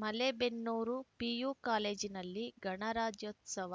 Malebennur PU ಕಾಲೇಜಿನಲ್ಲಿ ಗಣರಾಜ್ಯೋತ್ಸವ